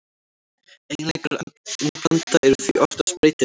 Eiginleikar efnablanda eru því oftast breytilegir.